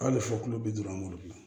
Hali fɔ kulo bi duuru an b'olu dun